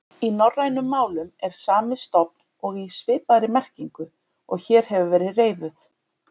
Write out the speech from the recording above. Í norrænum málum er sami stofn og í svipaðri merkingu og hér hefur verið reifuð.